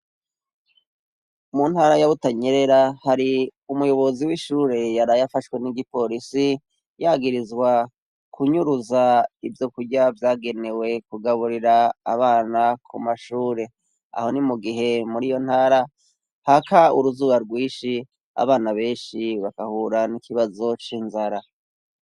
Mu ntara ya Butanyerera hari umuyobozi w'ishure yaraye afashwe n'igipolisi, yagirizwa kunyuruza ivyokurya vyagenewe kugaburira abana ku mashure. Aho ni mu gihe muri iyo ntara haka uruzuba rwinshi, abana benshi bagahura n'ikibazo c'inzara.